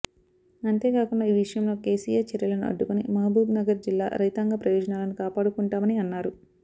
అంతేకాకుండా ఈ విషయం లో కేసీఆర్ చర్యలని అడ్డుకొని మహబూబ్ నగర్ జిల్లా రైతాంగ ప్రయోజనాలని కాపాడుకుంటామని అన్నారు